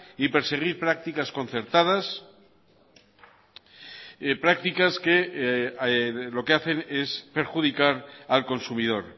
y perseguir prácticas concertadas prácticas que lo que hacen es perjudicar al consumidor